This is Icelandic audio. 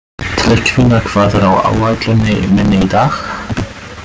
Tryggvína, hvað er á áætluninni minni í dag?